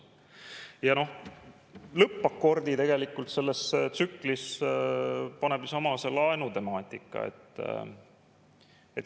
Ja noh, lõppakordi tegelikult selles tsüklis paneb ju seesama laenutemaatika.